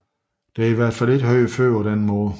Det er i hvert fald ikke hørt før på denne her måde